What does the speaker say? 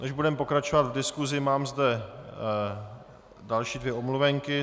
Než budeme pokračovat v diskusi, mám zde další dvě omluvenky.